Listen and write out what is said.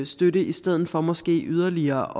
støtte i stedet for måske yderligere